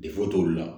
Defoyi t'olu la